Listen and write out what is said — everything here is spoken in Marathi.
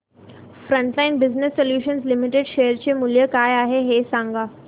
frontline business solutions limited share चे मूल्य काय आहे हे सांगा